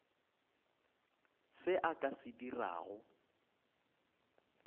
se a ka se dirago